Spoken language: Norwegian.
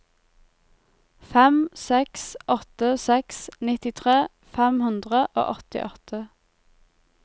fem seks åtte seks nittitre fem hundre og åttiåtte